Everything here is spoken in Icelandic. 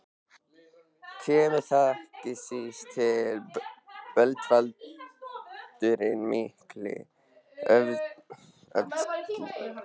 Kemur þar ekki síst til bölvaldurinn mikli, öfundsýki.